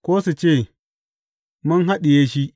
Ko su ce, Mun haɗiye shi.